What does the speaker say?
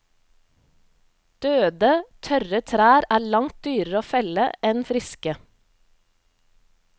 Døde, tørre trær er langt dyrere å felle enn friske.